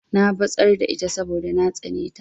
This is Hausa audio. Na batsar da ita saboda na tsane ta.